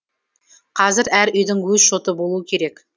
қазір әр үйдің өз шоты болуы керек